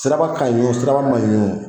Siraba ka ɲi o siraba man ɲi o